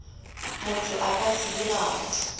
motho a ka se dirago